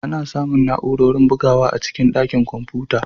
Ana samun na'urorin bugawa a cikin ɗakin kwamfuta.